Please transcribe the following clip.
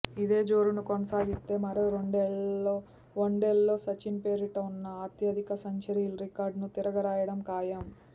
ఇదే జోరును కొనసాగిస్తే మరో రెండేళ్లలో వన్డేల్లో సచిన్ పేరిట ఉన్న అత్యధిక సెంచరీల రికార్డును తిరగ రాయడం ఖాయం